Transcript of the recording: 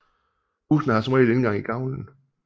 Husene har som regel indgang i gavlen